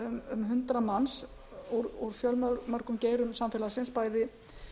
um hundrað manns úr fjölmörgum geirum samfélagið bæði